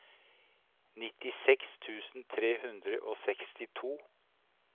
nittiseks tusen tre hundre og sekstito